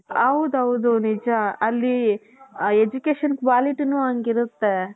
ಹೌದೌದು ನಿಜ ಅಲ್ಲಿ ಆ education qualityನು ಅಂಗಿರುತ್ತೆ .